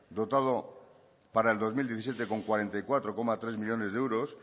dotado para el dos mil diecisiete con cuarenta y cuatro coma tres millónes de euros